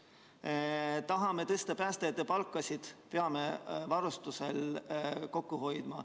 Kui tahame tõsta päästjate palka, siis peame varustuse pealt kokku hoidma.